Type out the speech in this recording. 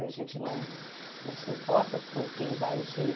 A gente não não se importa com quem vai gerir.